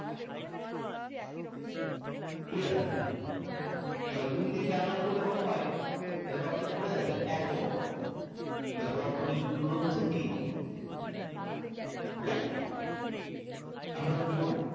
Clear? তাহলে দুই দুই parallel করলে কত হয়? এটা তো আমাদের মনে আছে এক Ohm হয় তাহলে বর্তনীর তুল্য ক্রোধ হচ্ছে তিন Ohm, okay? তাহলে আমরা কি করবো?